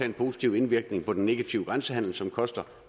en positiv indvirkning på den negative grænsehandel som koster